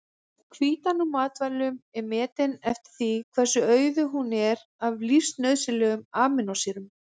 Hvítan úr matvælum er metin eftir því hversu auðug hún er af lífsnauðsynlegum amínósýrum.